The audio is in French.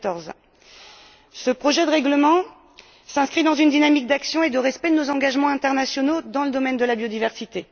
2014. Ce projet de règlement s'inscrit dans une dynamique d'action et de respect de nos engagements internationaux dans le domaine de la biodiversité.